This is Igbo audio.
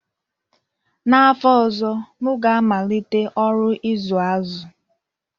N'afọ ọzọ, m ga-amalite ọrụ ịzụ azụ